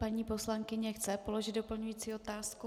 Paní poslankyně chce položit doplňující otázku.